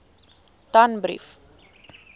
danbrief